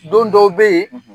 Don dɔw bɛ yen